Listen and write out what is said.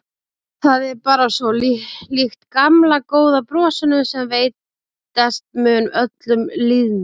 Það er bara svo líkt gamla góða brosinu sem veitast mun öllum lýðnum.